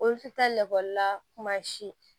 Olu ti taa lakɔlila kuma si